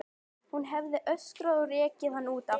Hún hefði öskrað og rekið hann út aftur.